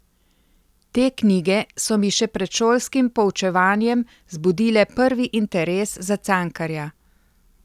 Te knjige so mi še pred šolskim poučevanjem zbudile prvi interes za Cankarja.